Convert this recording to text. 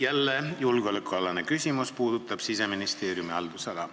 Jälle julgeolekualane küsimus, mis puudutab Siseministeeriumi haldusala.